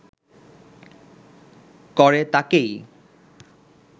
করে তাঁকেই